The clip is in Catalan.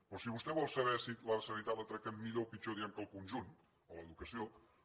però si vostè vol saber si la sanitat la tractem millor o pitjor diem que el conjunt o l’educació